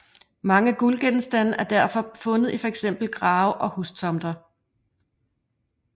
Mange guldgenstande er derfor blevet fundet i fx grave og hustomter